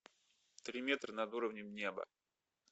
три метра над уровнем неба